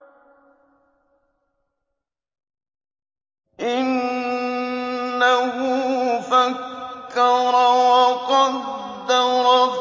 إِنَّهُ فَكَّرَ وَقَدَّرَ